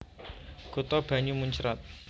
Kutha banyu muncrat